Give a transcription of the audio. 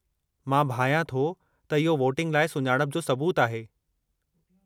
मां भायां थो त इहो वोटिंग लाइ सुञाणप जो सबूतु आहे।